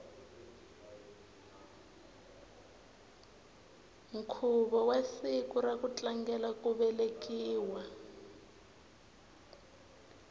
nkhuvo wa siku ra ku tlangela ku velekiwa